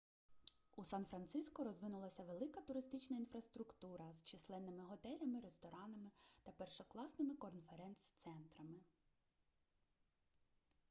у сан-франциско розвинулася велика туристична інфраструктура з численними готелями ресторанами та першокласними конференц-центрами